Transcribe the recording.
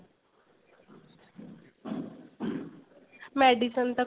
medicine ਤਾਂ